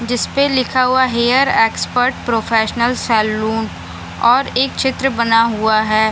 जिस पे लिखा हुआ हेयर एक्सपर्ट प्रोफेशनल सैलून और एक चित्र बना हुआ है।